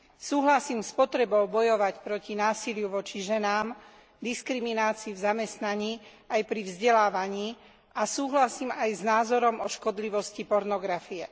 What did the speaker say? Súhlasím s potrebou bojovať proti násiliu voči ženám, diskriminácii v zamestnaní aj pri vzdelávaní a súhlasím aj s názorom o škodlivosti pornografie.